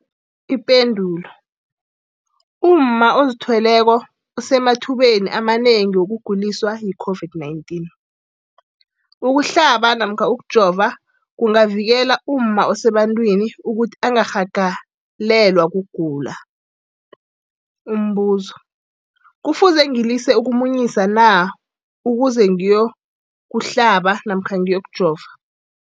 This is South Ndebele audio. Ipendulo, umma ozithweleko usemathubeni amanengi wokuguliswa yi-COVID-19. Ukuhlaba namkha ukujova kungavikela umma osebantwini ukuthi angarhagalelwa kugula. Umbuzo, kufuze ngilise ukumunyisa na ukuze ngiyokuhlaba namkha ngiyokujova?